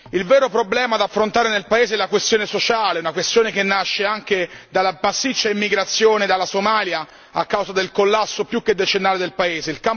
Il vero problema da affrontare nel paese è la questione sociale, la questione che nasce anche dalla massiccia immigrazione dalla Somalia, a causa del collasso più che decennale del paese.